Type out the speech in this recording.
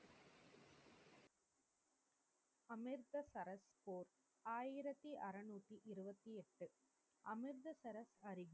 அமிர்தரஸ் போர். ஆயிரத்தி அறநூத்தி இருபத்தி எட்டு அமிர்தசரஸ்